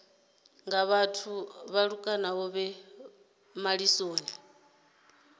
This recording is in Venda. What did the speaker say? nga vhathu vhaṱuku vhe malisoni